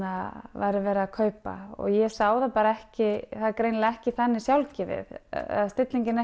væri verið að kaupa ég sá það bara ekki það er greinilega ekki þannig sjálfgefið eða stillingin